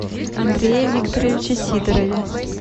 андрее викторовиче сидорове